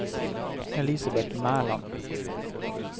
Elisabet Mæland